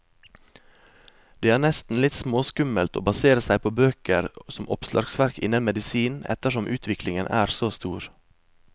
Det er nesten litt småskummelt å basere seg på bøker som oppslagsverk innen medisin, ettersom utviklingen er så stor.